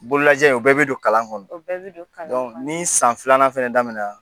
Bolo lajɛ o bi don kalan kɔnɔ, o bɛ bi don kalan kɔnɔna na ni san filanan fɛnɛ daminɛ